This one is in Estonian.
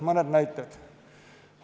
Mõned näited.